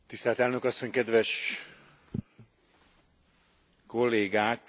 Tisztelt Elnök Asszony, kedves Kollégák!